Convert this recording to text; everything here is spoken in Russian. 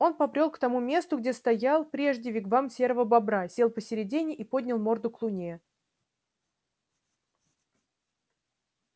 он побрёл к тому месту где стоял прежде вигвам серого бобра сел посредине и поднял морду к луне